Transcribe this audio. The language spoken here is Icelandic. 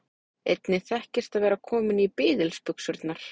Einnig þekkist að vera kominn í biðilsbuxurnar.